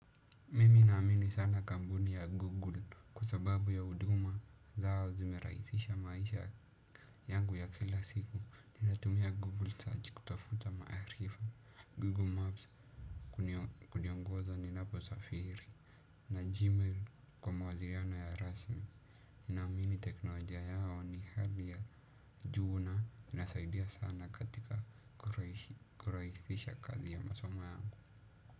Mimi naamini sana kampuni ya google kwa sababu ya huduma zao zimerahisisha maisha yangu ya kila siku ninatumia google search kutafuta maarifa, google maps kuniongoza ninapo safiri. Na gmail kwa mawasiliano ya rasmi ninaamini teknolojia yao ni hali ya juu na nasaidia sana katika kurahisisha kazi ya masomo yangu.